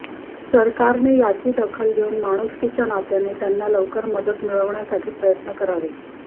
सरकारने याची दखल घेऊन माणूसकीच्या नात्याने त्यांना लवकर मदत मिळण्यासाठी प्रयत्न करावे